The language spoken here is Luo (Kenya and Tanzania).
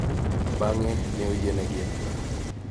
Bang�e, ne oyienegi e bura.